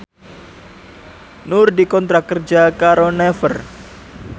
Nur dikontrak kerja karo Naver